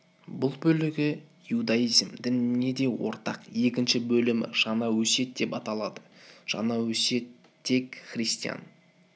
бұл бөлігі иудаизм дініне де ортақ екінші бөлімі жаңа өсиет деп аталады жаңа өсиет тек христиан